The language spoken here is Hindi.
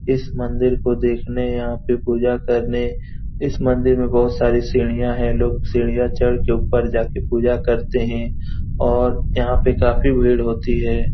इस मंदिर को देखने यहाँ पे पूजा करने इस मंदिर में बहुत सारी सीढ़ियां हैं। लोग सीढ़ियां चढ़ के ऊपर जेक पूजा करते हैं और यहाँ पर काफी भीड़ होती है।